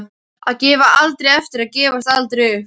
Að gefa aldrei eftir og gefast aldrei upp.